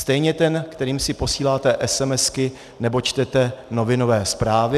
Stejně ten, kterým si posíláte SMS nebo čtete novinové zprávy.